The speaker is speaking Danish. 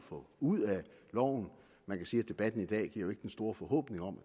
få ud af loven man kan sige at debatten i dag jo ikke giver den store forhåbning om at